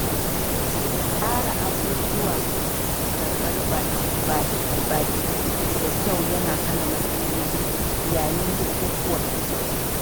Tsara abubuwa da karɓar baƙi da kyau yana hana matsaloli yayin bukukkuwa.